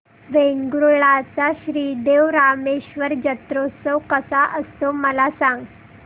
वेंगुर्ल्या चा श्री देव रामेश्वर जत्रौत्सव कसा असतो मला सांग